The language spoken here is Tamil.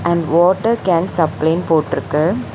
அண்ட் வாட்டர் கேன் சப்ளேன்னு போட்ருக்கு.